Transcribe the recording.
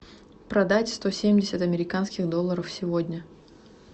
продать сто семьдесят американских долларов сегодня